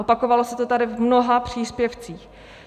Opakovalo se to tady v mnoha příspěvcích.